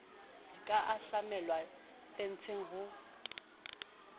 di ka tlamellwa fenseng ho